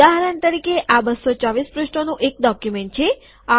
ઉદાહરણ તરીકે આ ૨૨૪ પૃષ્ઠોનું એક ડોક્યુમેન્ટ છે